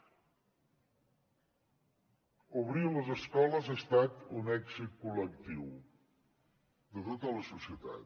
obrir les escoles ha estat un èxit col·lectiu de tota la societat